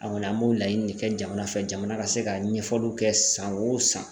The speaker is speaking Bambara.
An kɔni an b'o laɲini de kɛ jamana fɛ jamana ka se ka ɲɛfɔliw kɛ san o san